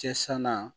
Cɛ sanan